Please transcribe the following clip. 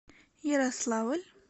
ярославль